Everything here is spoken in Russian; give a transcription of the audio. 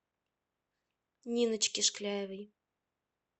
ниночке шкляевой